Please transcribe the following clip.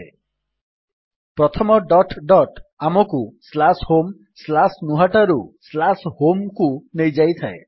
ପ୍ରଥମ narration dot dot ଆମକୁ homegnuhata narration - slash home slash ନୁହାଟାରୁ home ନ୍ୟାରେସନ୍ ସ୍ଲାସ୍ ହୋମ୍କୁ ନେଇଯାଏ